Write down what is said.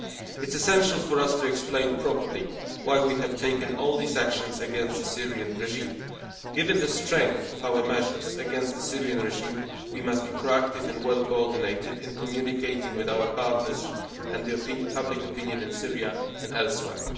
It is essential for us to explain properly why we have taken all these actions against the Syrian regime. Given the strength of our measures against the Syrian regime, we must be proactive and well coordinated in communicating with our partners and public opinion in Syria and elsewhere.